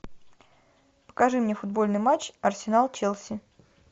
покажи мне футбольный матч арсенал челси